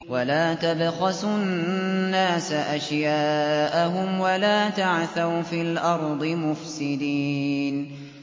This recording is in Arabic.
وَلَا تَبْخَسُوا النَّاسَ أَشْيَاءَهُمْ وَلَا تَعْثَوْا فِي الْأَرْضِ مُفْسِدِينَ